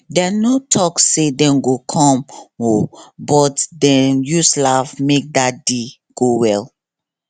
dem no talk say dem go come o but dem use laugh make dat day go well